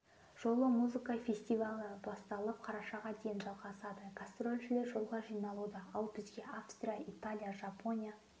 жолы музыка фестивалі басталып қарашаға дейін жалғасады гастрольшілер жолға жиналуда ал бізге австрия италия жапония